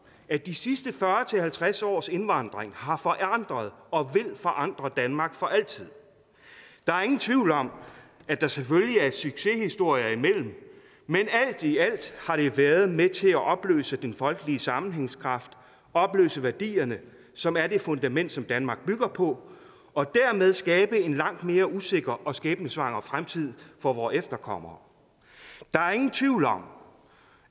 at de sidste fyrre til halvtreds års indvandring har forandret og vil forandre danmark for altid der er ingen tvivl om at der selvfølgelig er succeshistorier imellem men alt i alt har det været med til at opløse den folkelige sammenhængskraft opløse værdierne som er det fundament som danmark bygger på og dermed skabe en langt mere usikker og skæbnesvanger fremtid for vores efterkommere der er ingen tvivl om